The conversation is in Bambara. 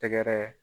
Tɛgɛrɛ